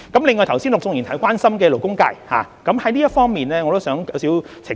另外，剛才陸頌雄議員關心勞工界，就這方面我想作一些澄清。